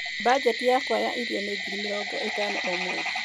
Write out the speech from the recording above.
Mbanjeti yakwa ya irio nĩ ngiri mĩrongo ĩtano o mweri.